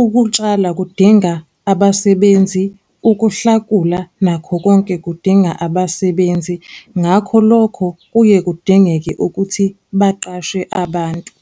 ukutshala kudinga abasebenzi, ukuhlakula nakho konke kudinga abasebenzi, ngakho lokho kuye kudingeke ukuthi baqashe abantu.